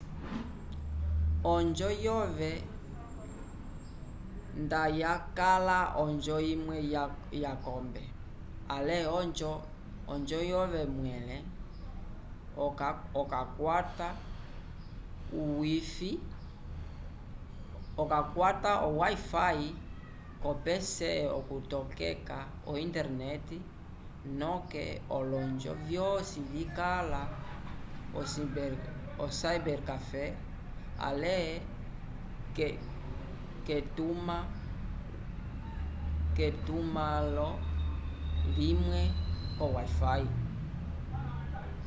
onjo yove nda yakala onjo imwe ya kombe ale onjo yove mwele okakwata o wifi ko pc okutokeka o interrnet noke olonjo vyosi vikala o cibercafe ale ketuma lo limwe ko wifi